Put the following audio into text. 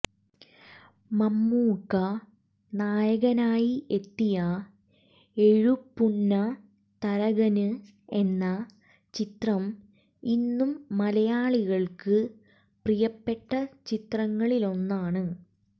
മമ്മൂക്ക നായകനായി എത്തിയ എഴുപുന്ന തരകന് എന്ന ചിത്രം ഇന്നും മലയാളികള്ക്ക് പ്രിയപ്പെട്ട ചിത്രങ്ങളിലൊന്നാണ്